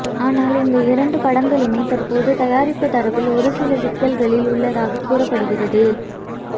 ஆனால் இந்த இரண்டு படங்களுமே தற்போது தயாரிப்பு தரப்பில் ஒருசில சிக்கல்களில் உள்ளதாக கூறப்படுகிறது